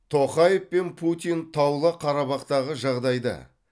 тоқаев пен путин таулы қарабақтағы жағдайды